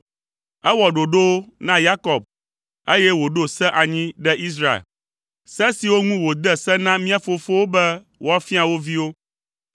Ewɔ ɖoɖowo na Yakob, eye wòɖo se anyi ɖe Israel, se siwo ŋu wòde se na mía fofowo be woafia wo viwo,